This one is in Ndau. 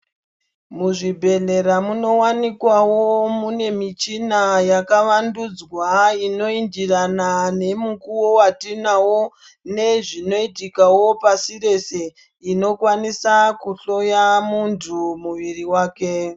Muzvi bhehlera munowanikwawo mune michina yaka wandudzwa ino indirana nemu kuwo watinawo nezvinoitikawo pasi rese inokwanisa kuhloya mundu muviri wake .